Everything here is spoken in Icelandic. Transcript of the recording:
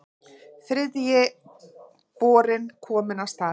Þriðji borinn kominn af stað